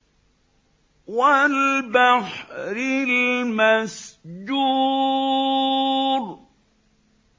وَالْبَحْرِ الْمَسْجُورِ